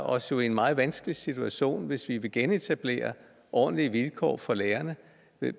os jo i en meget vanskelig situation hvis vi vil genetablere ordentlige vilkår for lærerne